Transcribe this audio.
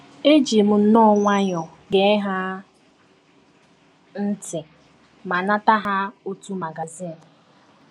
Eji m nnọọ nwayọọ gee ha ntị ma nata ha otu magazin.